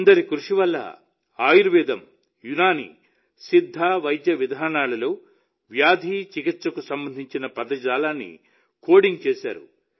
ఇద్దరి కృషి వల్ల ఆయుర్వేదం యునాని సిద్ధ వైద్య విధానాల్లో వ్యాధి చికిత్సకు సంబంధించిన పదజాలాన్ని కోడింగ్ చేశారు